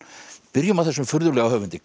byrjum á þessum furðulega höfundi